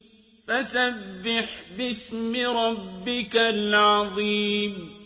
فَسَبِّحْ بِاسْمِ رَبِّكَ الْعَظِيمِ